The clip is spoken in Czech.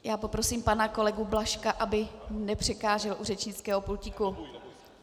Já poprosím pana kolegu Blažka, aby nepřekážel u řečnického pultíku.